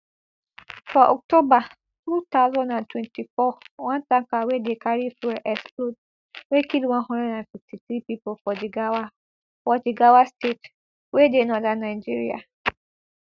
for october two thousand and twenty-four one tanker wey dey carry fuel explode wey kill one hundred and fifty-three pipo for jigawa for jigawa state wey dey northern nigeria